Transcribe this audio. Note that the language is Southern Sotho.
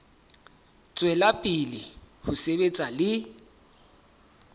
tswela pele ho sebetsa le